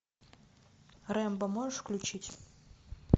рэмбо можешь включить